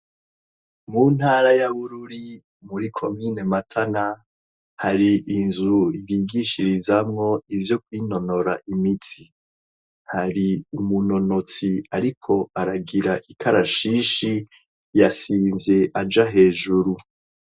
mu ntara ya bururi muri komine matana hari inzu bigishirizamwo ivyo kw'inonora imiti hari umunonotsi ariko aragira ikarashishi yasinze aja hejuru